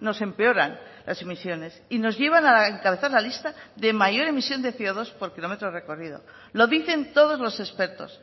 nos empeoran las emisiones y nos llevan a encabezar la lista de mayor emisión de ce o dos por kilómetro recorrido lo dicen todos los expertos